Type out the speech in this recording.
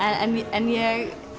en ég